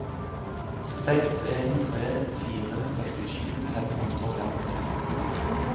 seks en tre fire sekstisju fem hundre og femtifem